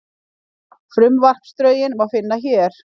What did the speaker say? Frumvarpsdrögin má finna hér